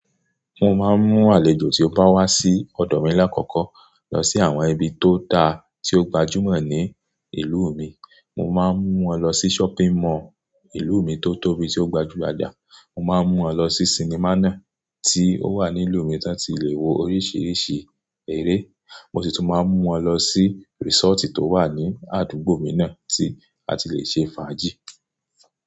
Mo máa ń mú àlejò tí ó bá wá sí ọ̀dọ̀ mi lákọkọ́ lọ sí àwọn ibi tó dáa tí ó gbajúmọ̀ ní ìlú mi. Mo máa ń mú wọn lọ sí shopping mall ìlú mi tó tóbi tí ó gbajúgbajà. Mo máa ń mú wọn lọ sí sinimá náà tí ó wà ní ìlú mi to ti lè wo oríṣiríṣi eré. Mo sì tún máa ń mú wọn lọ sí resort tó wà ní àdúgbò mi náà tí a ti lè ṣe fàájì.